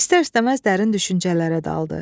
İstər-istəməz dərin düşüncələrə daldı.